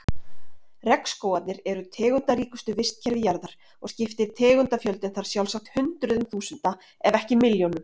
Regnskógarnir eru tegundaríkustu vistkerfi jarðar og skiptir tegundafjöldinn þar sjálfsagt hundruðum þúsunda ef ekki milljónum.